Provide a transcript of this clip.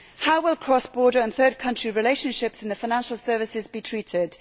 How will cross border and third country relationships in the financial services be treated?